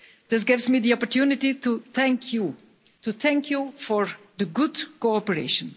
This gives me the opportunity to thank you to thank you for the good cooperation.